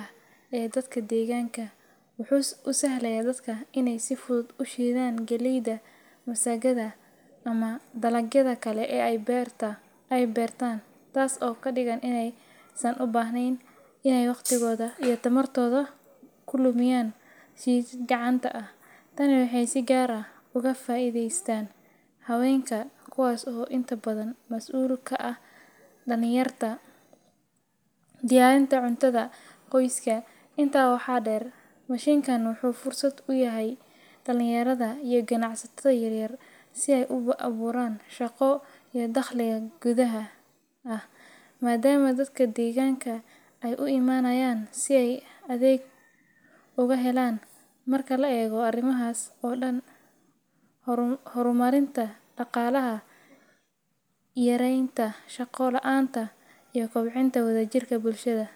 ah ee dadka deeganka, si fudud ayuu ushiida galeyda, taas oo ubahneen in lalumiyo tamarta, diyarinta cuntada qoyska, wuxuu fursada uyahay ganacsiga, hor marinta daqaalaha, yareenta shaqada, iyo kob cinta wada jirka bulshada.